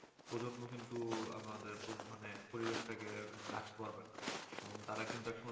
প্রজন্ম কিন্তু আমাদের প্রজ পরিবেশটাকে ঢাকতে পারবেনা এবং তারা কিন্তু এক সময়